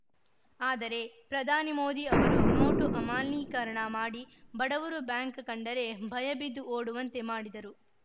ಆದರೆ ಪ್ರಧಾನಿ ಮೋದಿ ಅವರು ನೋಟು ಅಮಾನ್ಯೀಕರಣ ಮಾಡಿ ಬಡವರು ಬ್ಯಾಂಕ್‌ ಕಂಡರೆ ಭಯ ಬಿದ್ದು ಓಡುವಂತೆ ಮಾಡಿದರು